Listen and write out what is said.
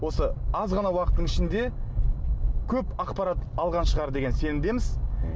осы аз ғана уақыттың ішінде көп ақпарат алған шығар деген сенімдеміз м